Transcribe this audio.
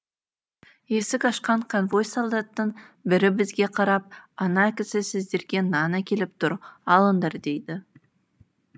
есік ашқан конвой солдаттың бірі бізге қарап ана кісі сіздерге нан әкеліп тұр алыңдар дейді